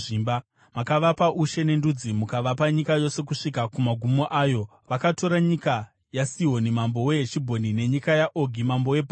“Makavapa ushe nendudzi, mukavapa nyika yose kusvika kumagumo ayo. Vakatora nyika yaSihoni mambo weHeshibhoni nenyika yaOgi mambo weBhashani.